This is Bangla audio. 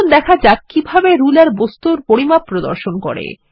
চলুন দেখা যাক কিভাবে রুলার বস্তুর পরিমাপ প্রদর্শন করে